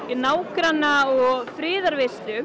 nágranna og